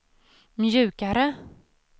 mjukare